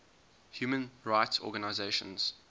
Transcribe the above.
human rights organisations